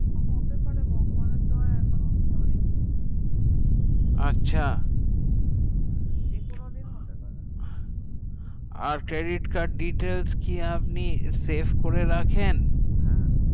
হতে পারে ভগবানের দোয়াই এখনো অব্দি হয়নি আচ্ছা যেকোনো দিন হতে পারে আর credit card details কি আপনি save করে রাখেন হ্যাঁ